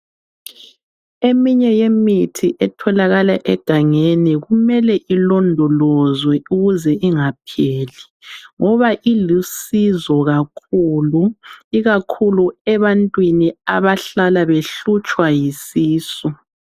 Eminye yemithi etholakala egangeni kumele ilondolozwe ukuze ingapheli ngoba ilusizo kakhulu, ikakhulu ebantwini abahlala behlutshwa yisisu.